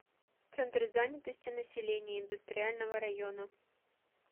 центр занятости населения индустриального района